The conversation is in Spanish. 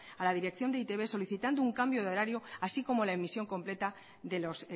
a la dirección de e i te be solicitando un cambio de horario así como la emisión completa de los